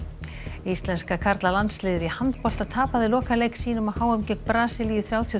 íslenska karlalandsliðið í handbolta tapaði lokaleik sínum á h m gegn Brasilíu þrjátíu og